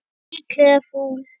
Líklegt fúl.